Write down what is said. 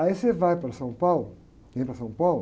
Aí você vai para São Paulo, vem para São Paulo,